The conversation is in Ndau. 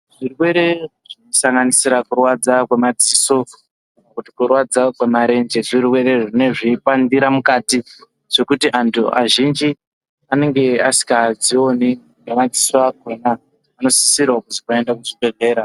Zvirwere kusanganisira kurwadza kwemadziso kana kuti kurwadza kwemarenje zvirwere zvinenge zveipandira mukati zvekuti antu azhinji anenge asinkadzioni ngemadziso akhona vanosisira kuzi vaende kuzvibhedhlera.